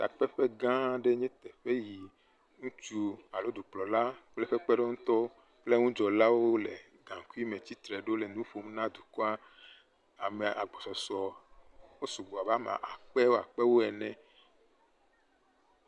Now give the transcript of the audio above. Takpeƒegã aɖe nye teƒea yi ŋutsu alo dukplɔla kple eƒe kpeɖeŋʋtɔ kple ŋudzɔlawo le gaŋkuime tsitre ɖo le nu ƒom na dukɔa ame agbɔsɔsɔ wosugbɔ abe ame akpewo akpewoene